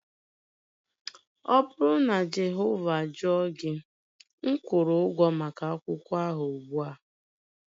Ọ bụrụ na Jehova jụọ gị, m kwụrụ ụgwọ maka akwụkwọ ahụ ugbua